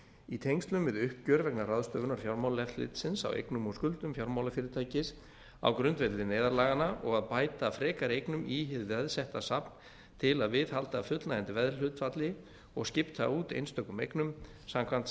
í tengslum við uppgjör vegna ráðstöfunar fjármálaeftirlitsins á eignum og skuldum fjármálafyrirtækis á grundvelli neyðarlaganna og að bæta frekari eignum í hið veðsetta safn til að viðhalda fullnægjandi veðhlutfalli og skipta út einstökum eignum samkvæmt